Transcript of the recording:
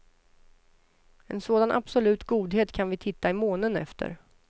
En sådan absolut godhet kan vi titta i månen efter.